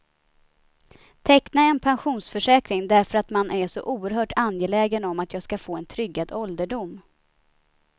Teckna en pensionsförsäkring därför att man är så oerhört angelägen om att jag ska få en tryggad ålderdom.